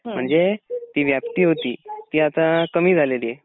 म्हणजे ती व्याप्ती होती ती आता कमी झालेली आहे.